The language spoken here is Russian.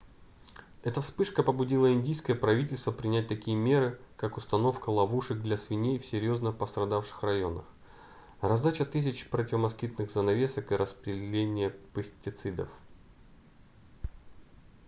эта вспышка побудила индийское правительство принять такие меры как установка ловушек для свиней в серьёзно пострадавших районах раздача тысяч противомоскитных занавесок и распыление пестицидов